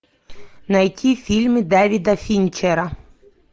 найти фильмы давида финчера